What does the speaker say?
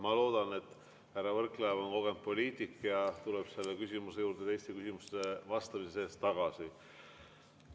Ma loodan, et härra Võrklaev on kogenud poliitik ja tuleb selle küsimuse juurde teistele küsimustele vastamise juures tagasi.